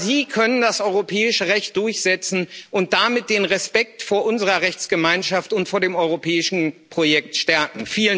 Aber Sie können das europäische Recht durchsetzen und damit den Respekt vor unserer Rechtsgemeinschaft und vor dem europäischen Projekt stärken.